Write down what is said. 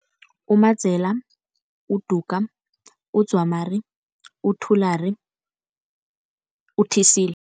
UMadzela, uDuga, uDzwamari, uThulari, uThisila.